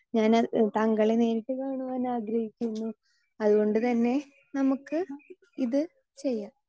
Speaker 2 ഞാന് താങ്കളെ നേരിട്ട് കാണുവാൻ ആഗ്രഹിക്കുന്നു അതുകൊണ്ടുതന്നെ നമുക്ക് ഇത് ചെയ്യാം.